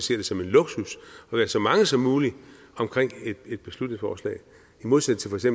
ser det som en luksus at være så mange som muligt omkring et beslutningsforslag i modsætning til